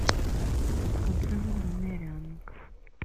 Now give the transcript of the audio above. отзывы бумеранг